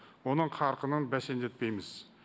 оның қарқынын бәсеңдетпейміз